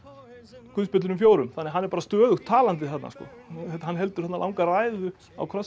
guðspjöllunum fjórum þannig að hann er stöðugt talandi þarna hann heldur langa ræðu á krossinum